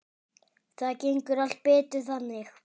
Það gengur allt betur þannig.